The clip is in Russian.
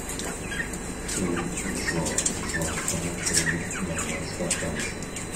фильм джо джонстона три ноль ноль спартанцев